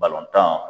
Balontan